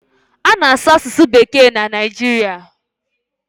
A na-asụ asụsụ bekee na Naijiria.